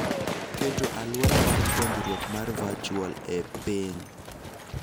Keto aluora mar puonjruok mar virtual e piny